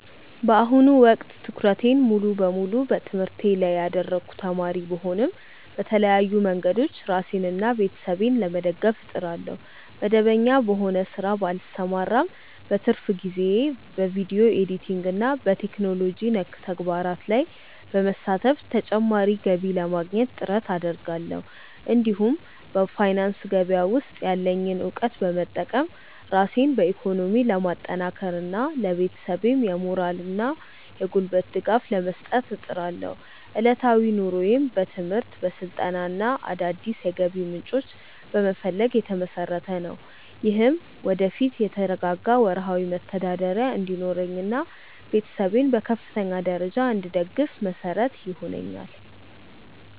በአሁኑ ወቅት ትኩረቴን ሙሉ በሙሉ በትምህርቴ ላይ ያደረግኩ ተማሪ ብሆንም፣ በተለያዩ መንገዶች ራሴንና ቤተሰቤን ለመደገፍ እጥራለሁ። መደበኛ በሆነ ሥራ ባልሰማራም፣ በትርፍ ጊዜዬ በቪዲዮ ኤዲቲንግና በቴክኖሎጂ ነክ ተግባራት ላይ በመሳተፍ ተጨማሪ ገቢ ለማግኘት ጥረት አደርጋለሁ። እንዲሁም በፋይናንስ ገበያ ውስጥ ያለኝን እውቀት በመጠቀም ራሴን በኢኮኖሚ ለማጠናከርና ለቤተሰቤም የሞራልና የጉልበት ድጋፍ ለመስጠት እጥራለሁ። ዕለታዊ ኑሮዬም በትምህርት፣ በስልጠናና አዳዲስ የገቢ ምንጮችን በመፈለግ ላይ የተመሰረተ ነው። ይህም ወደፊት የተረጋጋ ወርሃዊ መተዳደሪያ እንዲኖረኝና ቤተሰቤን በከፍተኛ ደረጃ እንድደግፍ መሰረት ይሆነኛል።